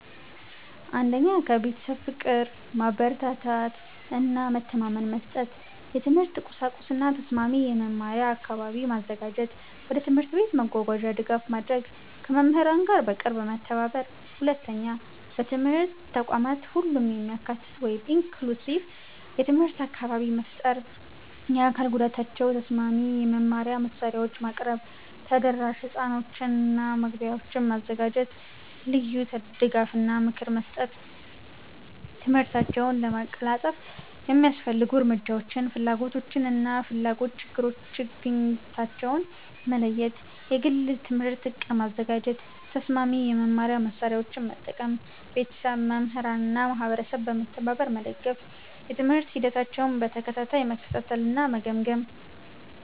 1. ከቤተሰብ ፍቅር፣ ማበረታታት እና መተማመን መስጠት። የትምህርት ቁሳቁስ እና ተስማሚ የመማሪያ አካባቢ ማዘጋጀት። ወደ ትምህርት ቤት መጓጓዣ ድጋፍ ማድረግ። ከመምህራን ጋር በቅርብ መተባበር። 2. ከትምህርት ተቋማት ሁሉንም የሚያካትት (inclusive) የትምህርት አካባቢ መፍጠር። ለአካል ጉዳታቸው ተስማሚ የመማሪያ መሳሪያዎችን ማቅረብ። ተደራሽ ሕንፃዎችና መግቢያዎች ማዘጋጀት። ልዩ ድጋፍ እና ምክር መስጠት። ትምህርታቸውን ለማቀላጠፍ የሚያስፈልጉ እርምጃዎች ፍላጎታቸውን እና ፍላጎት-ችግኝታቸውን መለየት። የግል የትምህርት ዕቅድ ማዘጋጀት። ተስማሚ የመማሪያ መሳሪያዎችን መጠቀም። ቤተሰብ፣ መምህራን እና ማህበረሰብ በመተባበር መደገፍ። የትምህርት ሂደታቸውን በተከታታይ መከታተል እና መገምገም።